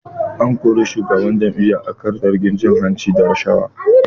An kori shugaban jami'an akan zargin cin hanci da rashawa